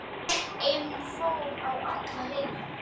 En hún fór á alla hina.